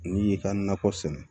N'i y'i ka nakɔ sɛnɛ